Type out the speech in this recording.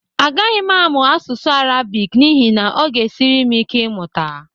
A gaghị m amụ asụsụ Arabik n'ihi na ọ ga-esiri m ike ịmụta